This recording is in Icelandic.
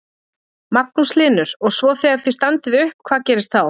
Magnús Hlynur: Og svo þegar þið standið upp, hvað gerist þá?